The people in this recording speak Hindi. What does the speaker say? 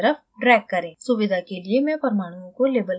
सुविधा के लिए मैं परमाणुओं को label करुँगी